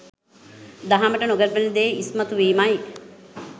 දහමට නොගැලපෙන දේ ඉස්මතු වීමයි.